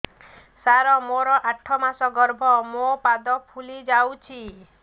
ସାର ମୋର ଆଠ ମାସ ଗର୍ଭ ମୋ ପାଦ ଫୁଲିଯାଉଛି